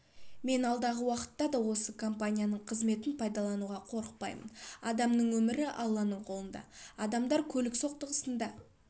мен алдағы уақытта да осы компанияның қызметін пайдалануға қорықпаймын адамның өмірі алланың қолында адамдар көлік соқтығысында